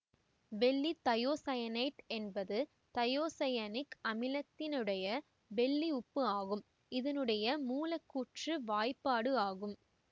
வெள்ளி தையோசயனேட்டு என்பது தையோசயனிக் அமிலத்தினுடைய வெள்ளி உப்பு ஆகும் இதனுடைய மூலக்கூற்று வாய்ப்பாடு ஆகும்